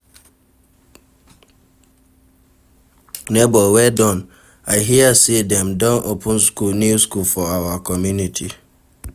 Nebor well done, I hear sey dem don open new school for our community.